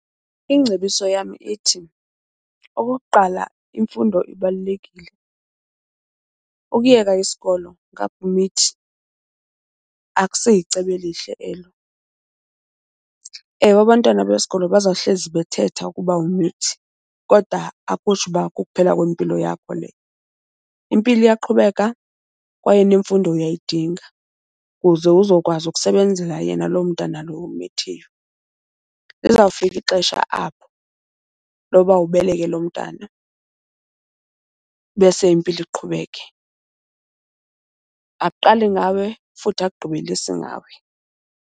Ingcebiso yam ithi okokuqala imfundo ibalulekile. Ukuyeka isikolo, ngapha umithi akusiyicebo elihle elo. Ewe, abantwana besikolo bazawuhlezi bethetha ukuba umithi kodwa akutsho uba kuphela kwempilo yakho leyo. Impilo iyaqhubeka kwaye nemfundo uyayidinga kuze uzokwazi ukusebenzela yena loo mntana lowo ummithiyo. Lizawufika ixesha apho loba ubeleke loo mntana bese impilo iqhubeke. Akuqali ngawe futhi akugqibelisi ngawe.